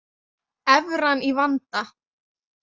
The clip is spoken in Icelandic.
Evran í vanda